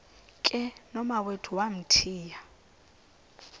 ke nomawethu wamthiya